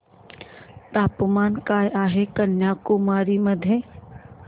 तापमान काय आहे कन्याकुमारी मध्ये